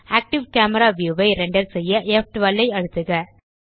active camera view ஐ render செய்ய ப்12 ஐ அழுத்துக